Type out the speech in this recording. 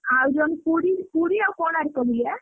ଆଉ ଯଦି ପୁରୀ ପୁରୀ ଆଉ କୋଣାର୍କ ବୁଲିଆ।